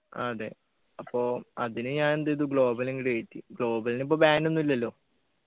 ആഹ് അതെ അപ്പൊ അതിനു ഞാൻ എന്ത് ചെയ്തു global അങ്ങട് കേറ്റി global ന് ഇപ്പ ban ഒന്നു ഇല്ലല്ലോ